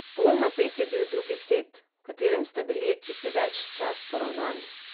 Bolj napet je bil drugi set, v katerem sta bili ekipi ves čas poravnani.